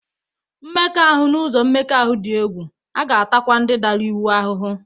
Mmekọahụ n'ụzọ mmekọahụ dị egwu, a ga-atakwa ndị dara iwu ahụhụ